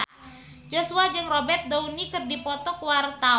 Joshua jeung Robert Downey keur dipoto ku wartawan